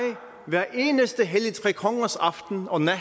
hver eneste helligtrekongers aften og nat